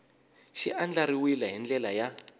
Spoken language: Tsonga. xi andlariwile hi ndlela ya